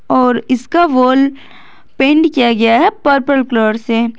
और इसका wall paint किया गया है पर्पल कलर से।